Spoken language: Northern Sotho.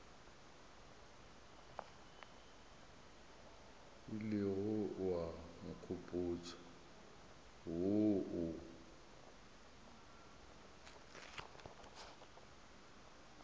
ilego wa nkgopotša wo o